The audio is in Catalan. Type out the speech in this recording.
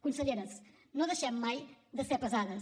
conselleres no deixem mai de ser pesades